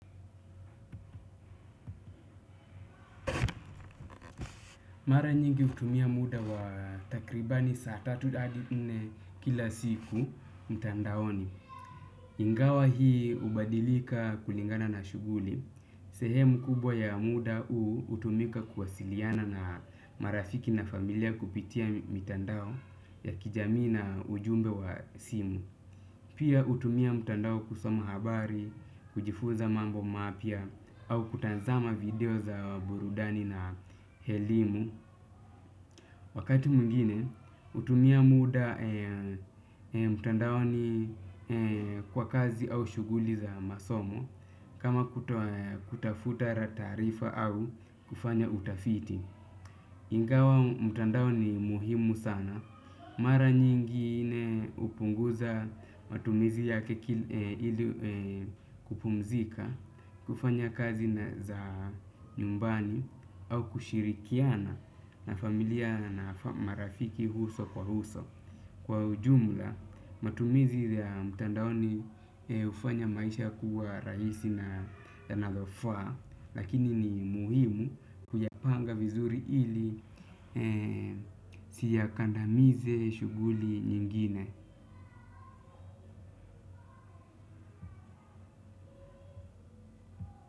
Mara nyingi hutumia muda wa takribani saa tatu hadi nne kila siku mtandaoni. Ingawa hii hubadilika kulingana na shuguli. Sehemu kubwa ya muda huu hutumika kuwasiliana na marafiki na familia kupitia mitandao ya kijamii na ujumbe wa simu. Pia hutumia mtandao kusoma habari, kujifuza mambo mapya au kutazama video za burudani na elimu. Wakati mwingine hutumia muda mtandaoni kwa kazi au shuguli za masomo kama kutafuta taarifa au kufanya utafiti. Ingawa mtandao ni muhimu sana. Mara nyingine hupunguza matumizi ya kupumzika, kufanya kazi za nyumbani au kushirikiana na familia na marafiki uso kwa uso. Kwa jumla, matumizi ya mitandaoni hufanya maisha kuwa rahisi na yanalofaa, lakini ni muhimu kuyapanga vizuri ili si yakandamize shuguli nyingine.